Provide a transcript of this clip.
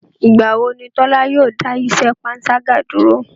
Ìgbà wo ni Tọ́la yóò dá iṣẹ́ panṣágà dúró?